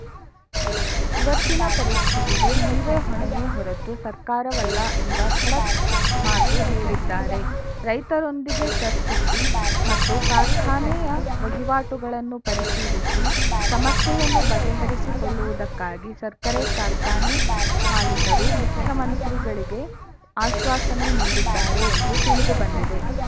ಇವತ್ತಿನ ಪರಿಸ್ಥಿತಿಗೆ ನೀವೇ ಹೊಣೆಯೇ ಹೊರತು ಸರ್ಕಾರವಲ್ಲ ಎಂಬ ಖಡಕ್‌ ಮಾತು ಹೇಳಿದ್ದಾರೆ ರೈತರೊಂದಿಗೆ ಚರ್ಚಿಸಿ ಮತ್ತು ಕಾರ್ಖಾನೆಯ ವಹಿವಾಟುಗಳನ್ನು ಪರಿಶೀಲಿಸಿ ಸಮಸ್ಯೆಯನ್ನು ಬಗೆಹರಿಸಿಕೊಳ್ಳುವುದಕ್ಕಾಗಿ ಸಕ್ಕರೆ ಕಾರ್ಖಾನೆ ಮಾಲಿಕರು ಮುಖ್ಯಮಂತ್ರಿಗಳಿಗೆ ಆಶ್ವಾಸನೆ ನೀಡಿದ್ದಾರೆ ಎಂದು ತಿಳಿದು ಬಂದಿದೆ